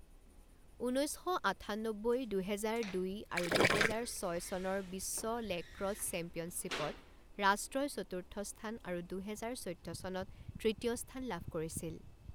ঊনৈছ শ আঠান্নব্বৈ, দুহেজাৰ দুই আৰু দুহেজাৰ ছয় চনৰ বিশ্ব লেক্ৰছ চেম্পিয়নশ্বিপত ৰাষ্ট্ৰই চতুৰ্থ স্থান আৰু দুহেজাৰ চৈধ্য চনত তৃতীয় স্থান লাভ কৰিছিল।